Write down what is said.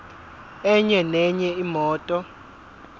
enye nenye imoto